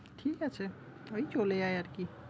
ঠিক আছে। ওই চলে যায় আরকি।